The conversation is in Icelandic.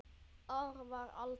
Ár var alda